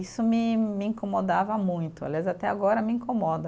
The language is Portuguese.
Isso me me incomodava muito, aliás, até agora me incomoda.